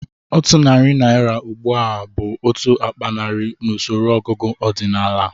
Otu narị naira ugbu a bụ otu akpa naira n'usoro ọgụgụ ọdịnala